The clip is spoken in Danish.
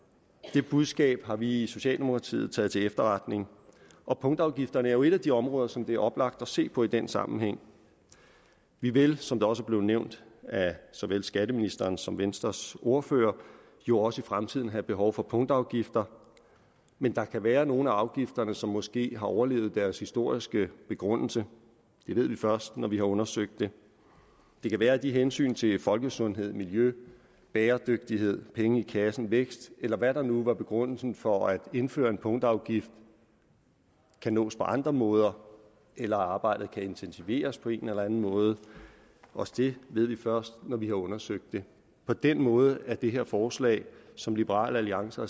det budskab har vi i socialdemokratiet taget til efterretning og punktafgifterne er jo et af de områder som det er oplagt at se på i den sammenhæng vi vil som det også er blevet nævnt af såvel skatteministeren som venstres ordfører jo også i fremtiden have behov for punktafgifter men der kan være nogle af afgifterne som måske har overlevet deres historiske begrundelse det ved vi først når vi har undersøgt det det kan være at hensyn til folkesundhed miljø bæredygtighed penge i kassen vækst eller hvad der nu var begrundelsen for at indføre en punktafgift kan nås på andre måder eller at arbejdet kan intensiveres på en eller anden måde også det ved vi først når vi har undersøgt det på den måde er det her forslag som liberal alliance